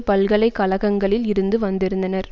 பல்கலை கழகங்களில் இருந்து வந்திருந்தனர்